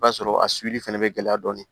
I b'a sɔrɔ a fɛnɛ bɛ gɛlɛya dɔɔni